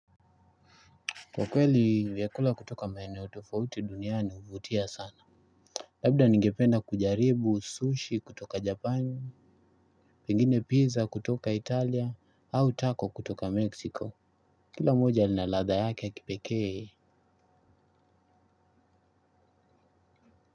Kwa kweli vyakula kutoka maeneo tofauti duniani huvutia sana. Labda ningependa kujaribu sushi kutoka japani. Pengine pizza kutoka italia au taco kutoka mexico. Kila moja lina ladha yake ya kipekee.